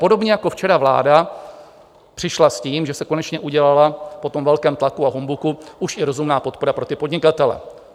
Podobně jako včera vláda přišla s tím, že se konečně udělala po tom velkém tlaku a humbuku už i rozumná podpora pro ty podnikatele.